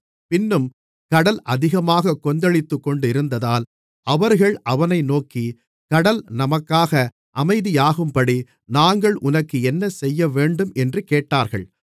பின்னும் கடல் அதிகமாகக் கொந்தளித்துக்கொண்டிருந்ததால் அவர்கள் அவனை நோக்கி கடல் நமக்காக அமைதியாகும்படி நாங்கள் உனக்கு என்ன செய்யவேண்டும் என்று கேட்டார்கள்